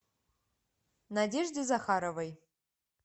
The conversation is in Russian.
надежде захаровой